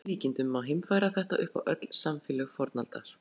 Að öllum líkindum má heimfæra þetta upp á öll samfélög fornaldar.